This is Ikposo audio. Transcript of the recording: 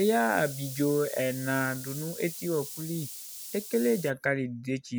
Eya ablidzo ɛna du nu etiwɔkuli Ekele dzakali ni idetsi